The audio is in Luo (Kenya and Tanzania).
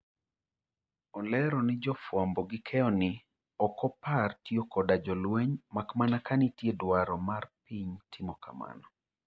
Olero ni jofuambo gi keyo ni okopar tiyo koda jolweny mak mana ka nitie dwaro mar piny timo kamano.